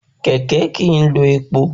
Kẹ̀kẹ́ kìí lò epo